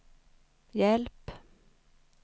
hjälp